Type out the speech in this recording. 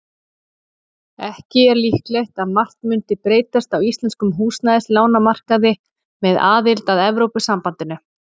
Ekki er líklegt að margt mundi breytast á íslenskum húsnæðislánamarkaði með aðild að Evrópusambandinu.